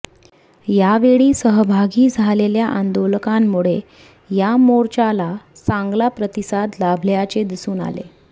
यावेळी सहभागी झालेल्या आंदोलकांमुळे या मोर्चाला चांगला प्रतिसाद लाभल्याचे दिसून आले